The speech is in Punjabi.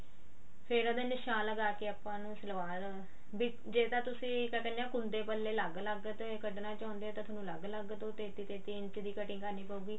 ਫੇਰ ਉਹਦੇ ਨਿਸ਼ਾਨ ਲਗਾ ਕੇ ਆਪਾਂ ਉਹਨੂੰ ਸਲਵਾਰ ਜੇ ਤਾਂ ਤੁਸੀਂ ਕਿਆ ਕਹਿੰਦੇ ਆ ਕੁੰਡੇ ਪੱਲੇ ਅਲੱਗ ਅਲੱਗ ਤੇ ਕੱਢਣਾ ਚਾਹੁੰਦੇ ਹੋ ਤਾਂ ਤੁਹਾਨੂੰ ਤਿੰਨ ਤਿੰਨ ਇੰਚ ਦੀ cutting ਕਰਨੀ ਪਉਗੀ